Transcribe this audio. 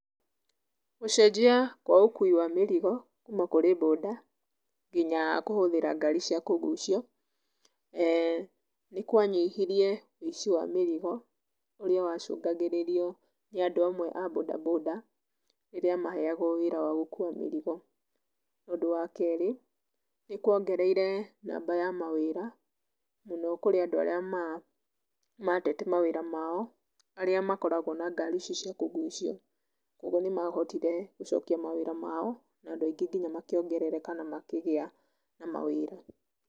Gũcenjia kwa ũkuĩ wa mĩrigo kuma kũrĩ bũnda nginya kũhũthĩra ngari cia kũgucio, eeh nĩkwanyihirie wĩici wa mĩrigo, ũrĩa wa cũngagĩrĩrio nĩ andũ amwe a bũnda bũnda, rĩrĩa maheyagwo wĩra wa gũku wa mĩrigo. Ũndũ wa kerĩ, nĩkwongereire namba ya mawĩra mũno kurĩ andũ arĩa matete mawĩra mao, arĩa makoragwo na ngari ici cia kũgucia, koguo nĩmahotire gũcokia mawĩra ma o, na andũ aingĩ nginya makĩongerereka na makĩgĩa na mawĩra.